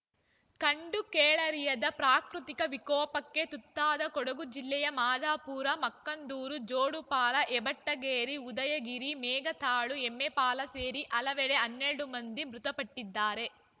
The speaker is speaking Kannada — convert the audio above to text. ಕಂಡು ಕೇಳರಿಯದ ಪ್ರಾಕೃತಿಕ ವಿಕೋಪಕ್ಕೆ ತುತ್ತಾದ ಕೊಡಗು ಜಿಲ್ಲೆಯ ಮಾದಾಪುರ ಮಕ್ಕಂದೂರು ಜೋಡುಪಾಲ ಹೆಬಟ್ಟಗೇರಿ ಉದಯಗಿರಿ ಮೇಘತಾಳು ಎಮ್ಮೆಪಾಲ ಸೇರಿ ಹಲವೆಡೆ ಹನೆಲಡು ಮಂದಿ ಮಂದಿ ಮೃತಪಟ್ಟಿದ್ದಾರೆ